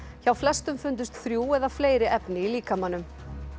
hjá flestum fundust þrjú eða fleiri efni í líkamanum